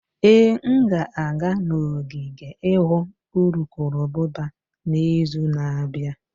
Ee, m ga-aga n'ogige ịhụ urukurubụba n'izu na-abịa.